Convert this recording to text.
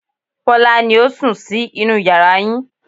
Bọ́lá ni ó sùn sí inú yàrá yín